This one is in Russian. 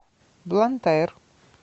блантайр